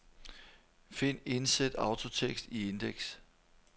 Find indsæt autotekst i indeks.